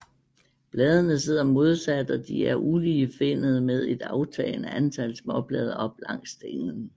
Bladene sidder modsat og de er uligefinnede med et aftagende antal småblade op langs stænglen